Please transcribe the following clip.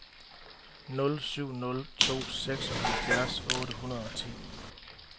nul syv nul to seksoghalvfjerds otte hundrede og ti